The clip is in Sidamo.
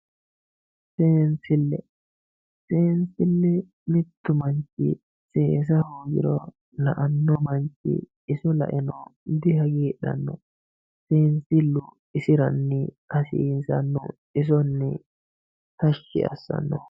seensille. seensille mittu manchi seesa hoogiro la"anno manchi iso la"eno dihagiidhan seensillu isiranni hasiisannoho isonni tashshi assannoho.